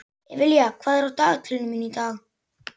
Evelía, hvað er á dagatalinu mínu í dag?